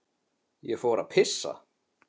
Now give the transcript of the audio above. Ég fór að pissa.